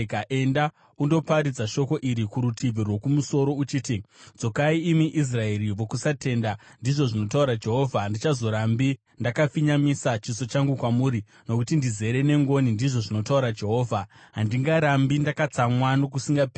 Enda undoparidza shoko iri kurutivi rwokumusoro uchiti, “ ‘Dzokai imi Israeri vokusatenda,’ ndizvo zvinotaura Jehovha, ‘Handichazorambi ndakafinyamisa chiso changu kwamuri, nokuti ndizere nengoni,’ ndizvo zvinotaura Jehovha, ‘handingarambi ndakatsamwa nokusingaperi.